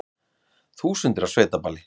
Þúsundir á sveitaballi